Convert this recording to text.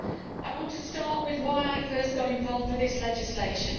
I want to start with why I first got involved with this legislation.